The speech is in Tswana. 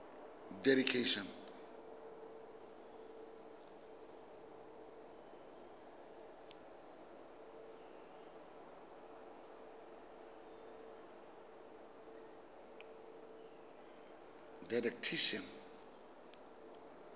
didactician